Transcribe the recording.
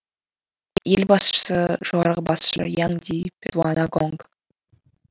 ел басшысы жоғарғы басшы янг ди пертуан агонг